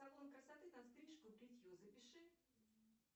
салон красоты на стрижку и бритье запиши